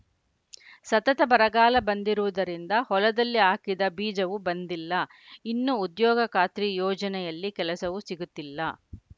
ಸತತ ಬರಗಾಲ ಬಂದಿರುವುದರಿಂದ ಹೊಲದಲ್ಲಿ ಹಾಕಿದ ಬೀಜವೂ ಬಂದಿಲ್ಲ ಇನ್ನು ಉದ್ಯೋಗ ಖಾತ್ರಿ ಯೋಜನೆಯಲ್ಲಿ ಕೆಲಸವೂ ಸಿಗುತ್ತಿಲ್ಲ